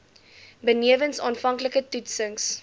benewens aanvanklike toetsings